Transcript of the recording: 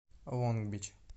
лонг бич